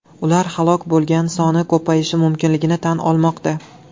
Ular halok bo‘lgan soni ko‘payishi mumkinligini tan olmoqda.